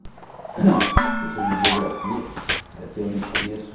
Professora de Geografia, que até eu não esqueço.